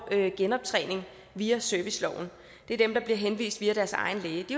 genoptræning via serviceloven det er dem der bliver henvist via deres egen læge de